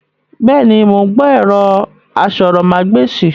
Bẹ́ẹ̀ni, mo ń gbọ́ ẹ̀rọ asọ̀rọ̀ má gba èsìn